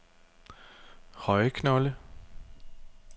Højeknolde